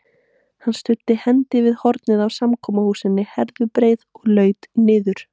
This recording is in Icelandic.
Hann studdi hendi við hornið á samkomuhúsinu Herðubreið og laut niður.